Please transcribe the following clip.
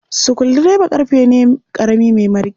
Sukuldireba ƙarfe ne ƙarami mai mariƙi.